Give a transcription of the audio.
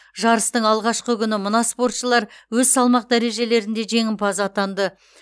жарыстың алғашқы күні мына спортшылар өз салмақ дәрежелерінде жеңімпаз атанды